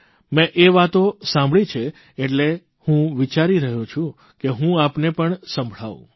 મેં એ વાતો સાંભળી છે એટલે હું વિચારૂં છું કે હું આપને પણ સંભળાવું